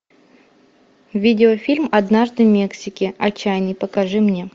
видеофильм однажды в мексике отчаянный покажи мне